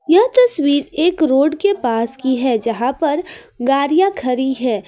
यह तस्वीर एक रोड के पास की है है जहां पर गाड़ियां खड़ी हैं।